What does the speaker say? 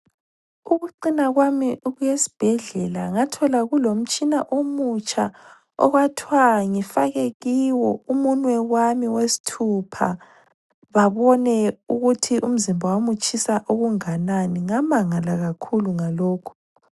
Ukuccina kwami ukuyesibhedlela, ngathola kulomtshina omutsha okwathwa ngifake kiwo umunwe wami wesithupha, babone ukuthi umzimba wami utshisa okunganani. Ngamangala kakhulu ngalokhu.